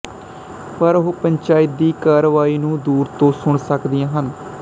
ਪਰ ਉਹ ਪੰਚਾਇਤ ਦੀ ਕਾਰਵਾਈ ਨੂੰ ਦੂਰ ਤੋਂ ਸੁਣ ਸਕਦੀਆਂ ਹਨ